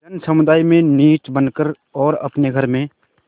जनसमुदाय में नीच बन कर और अपने घर में